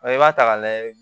i b'a ta k'a lajɛ